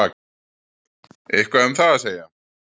Eitthvað um það að segja?